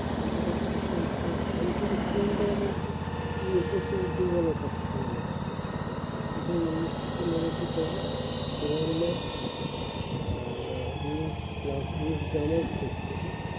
এই সব student এর আমি উদ্যোগের ব্যাপার থাকে বলতো ওদের এমনিতে উন্নিশ plus january তে